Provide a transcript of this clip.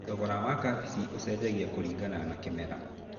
Thogora wa kabici ũcenjagia kũringana na kĩmera.